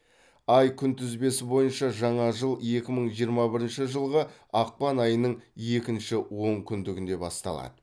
ай күнтізбесі бойынша жаңа жыл екі мың жиырма бірінші жылғы ақпан айының екінші онкүндігінде басталады